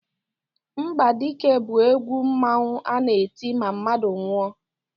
Mgbadike bụ egwu mmanwu a na-eti ma mmadụ nwụọ.